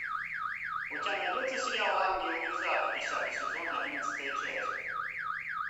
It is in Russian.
у тебя найдется сериал ангел из ада десятый сезон одиннадцатая часть